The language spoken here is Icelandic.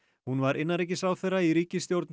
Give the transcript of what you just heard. hún var innanríkisráðherra í ríkisstjórn